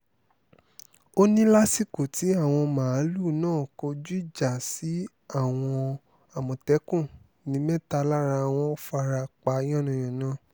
ó ní lásìkò tí àwọn màálùú náà kọjú ìjà sí àwọn àmọ̀tẹ́kùn ní mẹ́ta lára wọn fara pa yánnayànna